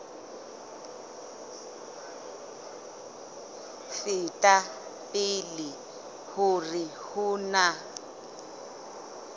feta pele hore ho na